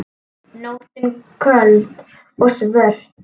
Nóttin köld og svört.